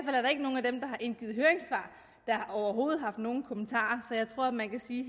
indgivet høringssvar der overhovedet har haft nogen kommentarer så jeg tror man kan sige